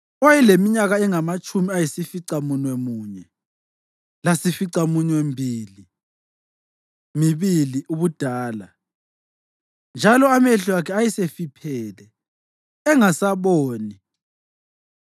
owayeleminyaka engamatshumi ayisificamunwemunye munye lasificaminwembili mibili ubudala, njalo amehlo akhe ayesefiphele, engasaboni.